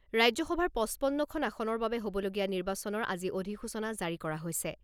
ৰাজ্যসভাৰ পঁচপন্নখন আসনৰ বাবে হ'বলগীয়া নিৰ্বাচনৰ আজি অধিসূচনা জাৰি কৰা হৈছে।